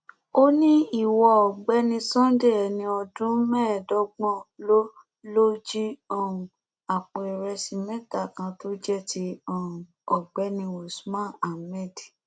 ó ní ìwọ ọgbẹni sunday ẹni ọdún mẹẹẹdọgbọn lóò lóò jí um àpò ìrẹsì mẹta kan tó jẹ ti um ọgbẹni usman hammed